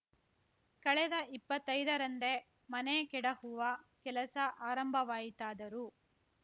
ಕಳೆದ ಇಪ್ಪತ್ತೈದ ರಂದೇ ಮನೆ ಕೆಡಹುವ ಕೆಲಸ ಆರಂಭವಾಯಿತಾದರೂ